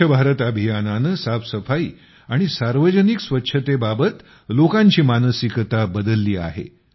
स्वच्छ भारत अभियानानं साफसफाई आणि सार्वजनिक स्वच्छतेबाबत लोकांची मानसिकता बदलली आहे